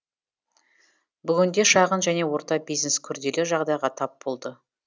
бүгінде шағын және орта бизнес күрделі жағдайға тап болды